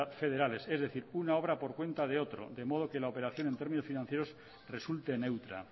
federales es decir una obra por cuenta de otro de modo que la operación en términos financieros resulte neutra